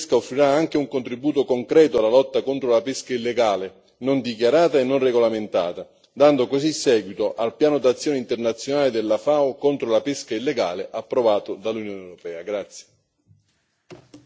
Il regolamento sulle autorizzazioni di pesca offrirà anche un contributo concreto alla lotta contro la pesca illegale, non dichiarata e non regolamentata, dando così seguito al piano d'azione internazionale della FAO contro la pesca illegale, approvato dall'Unione europea.